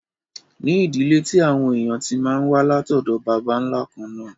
ní ìdílé tí àwọn èèyàn tí máa n wá látọ̀dọ̀ bàbá nla kànnà